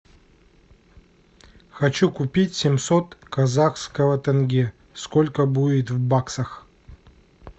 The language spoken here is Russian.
хочу купить семьсот казахского тенге сколько будет в баксах